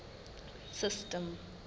system